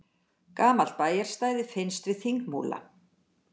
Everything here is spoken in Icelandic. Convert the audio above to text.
Gamalt bæjarstæði finnst við Þingmúla